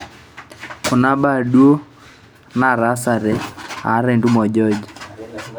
kuna mbaa duo nataasate aata entumo o George